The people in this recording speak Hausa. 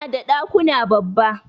Suna da dakuna babba.